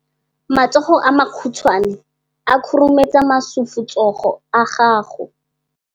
Matsogo a makhutshwane a khurumetsa masufutsogo a gago.